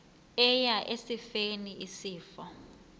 eya esifeni isifo